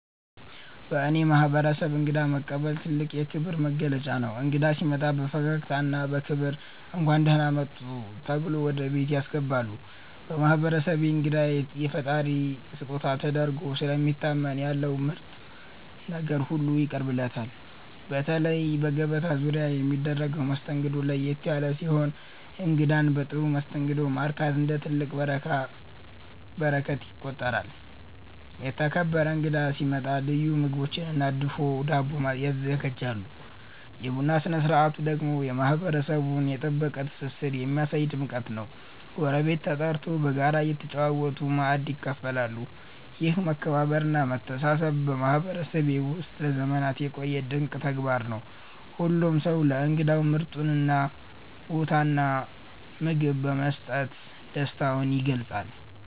በእኔ ማህበረሰብ እንግዳ መቀበል ትልቅ የክብር መገለጫ ነው። እንግዳ ሲመጣ በፈገግታና በክብር “እንኳን ደህና መጡ” ተብሎ ወደ ቤት ያስገባሉ። በማህበረሰቤ እንግዳ የፈጣሪ ስጦታ ተደርጎ ስለሚታመን ያለው ምርጥ ነገር ሁሉ ይቀርብለታል። በተለይ በገበታ ዙሪያ የሚደረገው መስተንግዶ ለየት ያለ ሲሆን እንግዳን በጥሩ መስተንግዶ ማርካት እንደ ትልቅ በረከት ይቆጠራል። የተከበረ እንግዳ ሲመጣ ልዩ ምግቦችና ድፎ ዳቦ ይዘጋጃሉ። የቡና ስነ ስርዓቱ ደግሞ የማህበረሰቡን የጠበቀ ትስስር የሚያሳይ ድምቀት ነው፤ ጎረቤት ተጠርቶ በጋራ እየተጨዋወቱ ማእድ ይካፈላሉ። ይህ መከባበርና መተሳሰብ በማህበረሰቤ ውስጥ ለዘመናት የቆየ ድንቅ ተግባር ነው። ሁሉም ሰው ለእንግዳው ምርጡን ቦታና ምግብ በመስጠት ደስታውን ይገልጻል።